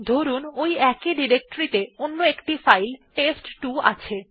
ধরুন ওই একই ডিরেক্টরি ত়ে অন্য একটি ফাইল টেস্ট2 আছে